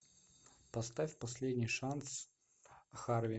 поставь последний шанс харви